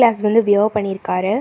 Class வந்து wear பண்ணி இருக்காரு.